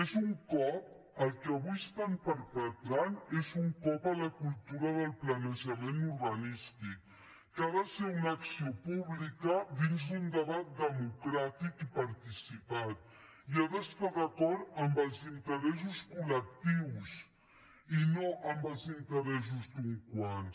és un cop el que avui estan perpetrant és un cop a la cultura del planejament urbanístic que ha de ser una acció pública dins d’un debat democràtic i participat i ha d’estar d’acord amb els interessos col·els interessos d’uns quants